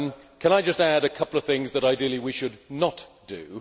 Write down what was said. Can I just add a couple of things that, ideally, we should not do.